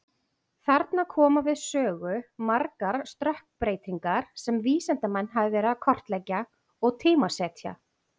Þarna koma við sögu margar stökkbreytingar sem vísindamenn hafa verið að kortleggja og tímasetja.